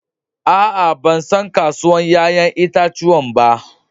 Aa, ban san kasuwan yayan itatuwan ba.